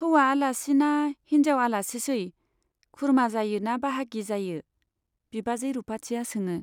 हौवा आलासि ना हिन्जाव आलासिसै ? खुरमा जायो ना बाहागि जायो ? बिबाजै रुपाथिया सोङो।